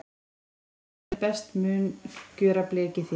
Í pott úr járni best mun gjöra blekið þér.